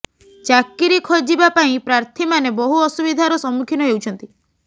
ଚାକିରି ଖୋଜିବା ପାଇଁ ପ୍ରାର୍ଥୀମାନେ ବହୁ ଅସୁବିଧାର ସମ୍ମୁଖୀନ ହେଉଛନ୍ତି